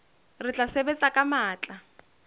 re tla sebetsa ka matla